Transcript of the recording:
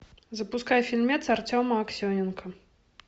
запускай фильмец артема аксененко